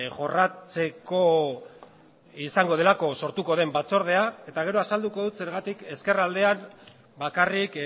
jorratzeko izango delako sortuko den batzordea eta gero azalduko dut zergatik ezkerraldean bakarrik